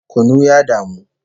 Kunu ya damu